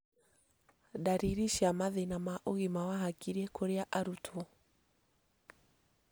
ndariri cia mathĩna ma ũgima wa hakiri kũrĩ arutwo